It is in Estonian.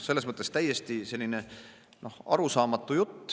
Selles mõttes on see kõik täiesti arusaamatu jutt.